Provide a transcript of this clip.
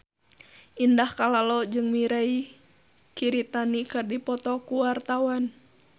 Indah Kalalo jeung Mirei Kiritani keur dipoto ku wartawan